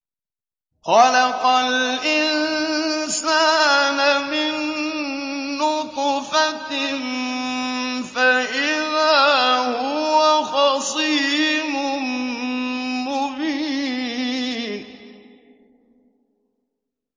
خَلَقَ الْإِنسَانَ مِن نُّطْفَةٍ فَإِذَا هُوَ خَصِيمٌ مُّبِينٌ